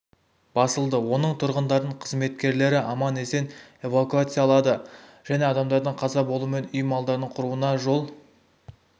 басылды оның тұрғындарын қызметкерлері аман-есен эвакуациялады және адамдардың қаза болу мен үй малдардың құруына жол